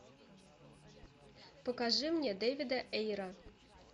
покажи мне дэвида эйра